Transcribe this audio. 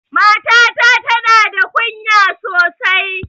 Matata ta na da kunya sosai